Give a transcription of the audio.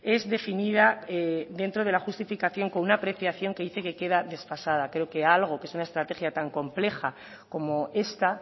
es definida dentro de la justificación con una apreciación que dice que queda desfasada creo que algo que es una estrategia tan compleja como esta